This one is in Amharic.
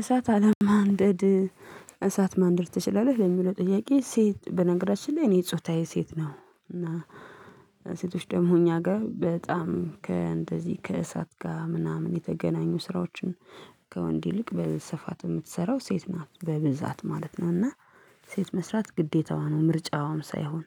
እሳት አለማንደድ እሳት ማንደድ ትችላለህ ለሚለው ጥያቄ ሴት በነገራችን ላይ እኔ ጾታዬ ሴት ነው። እና ሴቶች ደግሞ እኛ ጋር በጣም ከእንደዚህ ከእሳት ጋር ምናምን የተገናኙ ስራዎችን ከወንድ ይልቅ በስፋት የምትሰራው ሴት ናት በብዛት ማለት ነው። እና ሴት መስራት ግዴታዋ ነው ምርጫዋም ሳይሆን